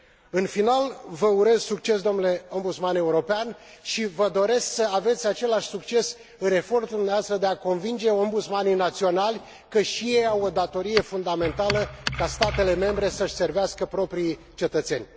În final, vă urez succes domnule Ombudsman European și vă doresc să aveți același succes în efortul dumneavoastră de a convinge ombudsmanii naționali că și ei au o datorie fundamentală ca statele membre să și servească propriii cetățeni.